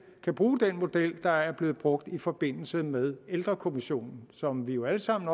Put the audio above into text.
kan bruge den model der er blevet brugt i forbindelse med ældrekommissionen som vi jo alle sammen